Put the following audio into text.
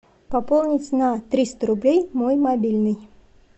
пополнить на триста рублей мой мобильный